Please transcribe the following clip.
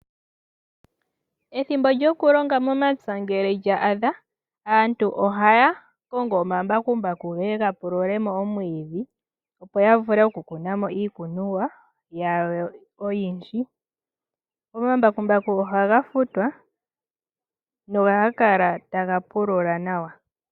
Ethimbo lyoku longa momapya ngele lya adha aantu ohaya kongo omambakumbaku geye gapulule mo omwiidhi, opo yavule oku kuna mo iikunomwa yawo oyindji. Omambakumbaku ohaga futwa nohaga kala taga pulula nawa.